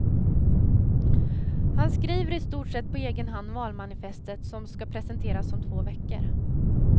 Han skriver i stort sett på egen hand valmanifestet som ska presenteras om två veckor.